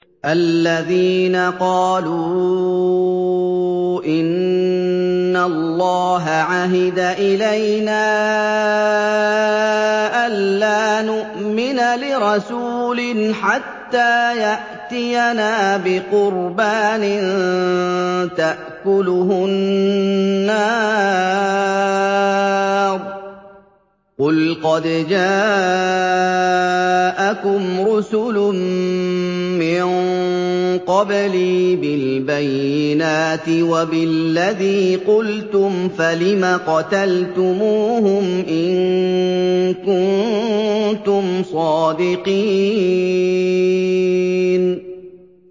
الَّذِينَ قَالُوا إِنَّ اللَّهَ عَهِدَ إِلَيْنَا أَلَّا نُؤْمِنَ لِرَسُولٍ حَتَّىٰ يَأْتِيَنَا بِقُرْبَانٍ تَأْكُلُهُ النَّارُ ۗ قُلْ قَدْ جَاءَكُمْ رُسُلٌ مِّن قَبْلِي بِالْبَيِّنَاتِ وَبِالَّذِي قُلْتُمْ فَلِمَ قَتَلْتُمُوهُمْ إِن كُنتُمْ صَادِقِينَ